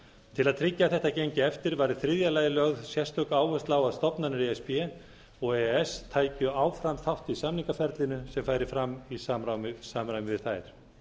til að tryggja að þetta gengi eftir var í þriðja lagi lögð sérstök áhersla á að stofnanir e s b og e e s tækju áfram þátt í samningaferlinu sem færi fram í samræmi við þær